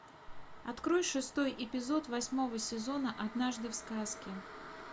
открой шестой эпизод восьмого сезона однажды в сказке